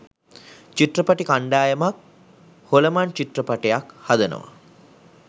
චිත්‍රපටි කණ්ඩායමක් හොලමන් චිත්‍රපටියක් හදනවා.